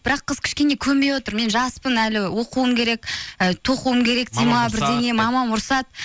бірақ қыз кішкене көнбей отыр мен жаспын әлі оқуым керек ы тоқуым керек дейді ме мамам ұрысады